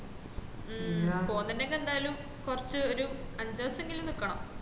മ്മ് പൊന്നുണ്ടെങ്കിൽ എന്തയാലും കൊറച് ഒര് അഞ്ചു ദേവസേങ്കില് നിക്കണം